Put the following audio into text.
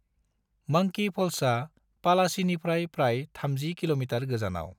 Monkey फल्सआ पलाचीनिफ्राय प्राय 30 किमी गोजानाव।